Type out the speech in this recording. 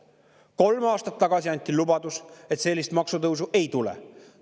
Kolm aastat tagasi anti lubadus, et sellist maksutõusu ei tule.